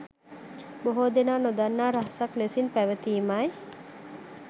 බොහෝ දෙනා නොදන්නා රහසක් ලෙසින් පැවතීමයි.